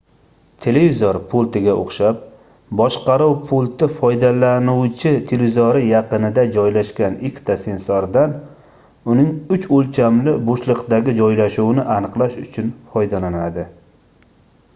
televizor pultiga oʻxshab boshqaruv pulti foydalanuvchi televizori yaqinida joylashgan ikkita sensordan uning uch oʻlchamli boʻshliqdagi joylashuvini aniqlash uchun foydalanadi